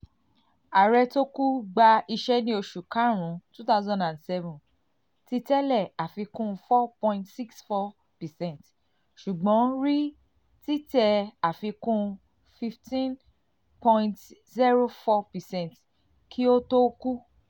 ààrẹ tó kú gba kú gba iṣẹ́ ní oṣù karùn-ún two thousand seven títẹ̀lé àfikún four point six four percent ṣùgbọ́n rí títẹ̀ àfikún fifteen point zero four percent kí ó tó kú.